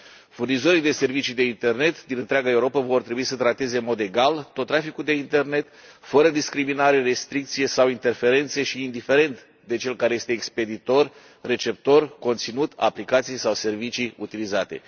Furnizorii de servicii de internet din întreaga Europă vor trebui să trateze în mod egal tot traficul de internet, fără discriminare, restricție sau interferențe și indiferent de cel care este expeditor sau receptor, de conținut, aplicații sau servicii utilizate.